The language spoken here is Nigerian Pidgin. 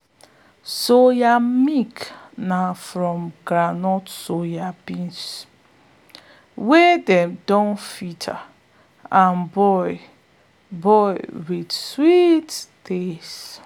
soya milk na from ground soya beans wey dem don filter and boil boil with sweet taste.